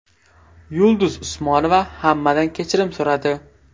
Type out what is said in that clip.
Yulduz Usmonova hammadan kechirim so‘radi .